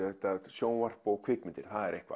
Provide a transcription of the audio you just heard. sjónvarp og kvikmyndir